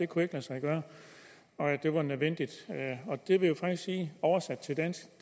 kunne lade sig gøre og at det var nødvendigt og det vil jo faktisk sige oversat til dansk